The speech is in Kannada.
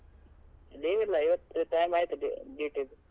Leave ಇಲ್ಲ ಇವತ್ತು time ಆಯ್ತು du~ duty ದ್ದು.